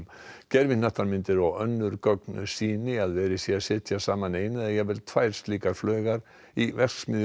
gervihnattamyndir og önnur gögn sýni að verið sé að setja saman eina eða jafnvel tvær slíkar flaugar í verksmiðju